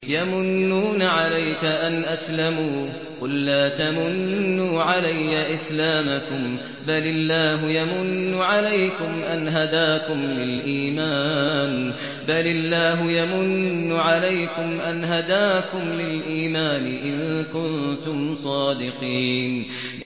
يَمُنُّونَ عَلَيْكَ أَنْ أَسْلَمُوا ۖ قُل لَّا تَمُنُّوا عَلَيَّ إِسْلَامَكُم ۖ بَلِ اللَّهُ يَمُنُّ عَلَيْكُمْ أَنْ هَدَاكُمْ لِلْإِيمَانِ إِن كُنتُمْ صَادِقِينَ